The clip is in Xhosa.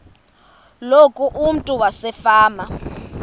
loku umntu wasefama